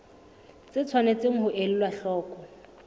tse tshwanetseng ho elwa hloko